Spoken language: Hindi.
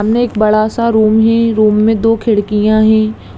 सामने एक बड़ा-सा रूम है रूम में दो खिड़कियां है।